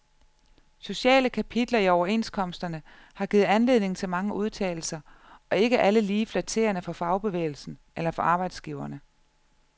Sociale kapitler i overenskomsterne har givet anledning til mange udtalelser og ikke alle lige flatterende for fagbevægelsen eller for arbejdsgiverne.